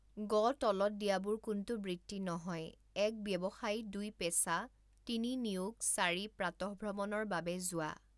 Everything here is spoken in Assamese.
গ তলত দিয়াবোৰ কোনটো বৃত্তি নহয় এক ব্যৱসায় দুই পেচা তিনি নিয়োগ চাৰি প্ৰাতঃভ্ৰমণৰ বাবে যোৱা।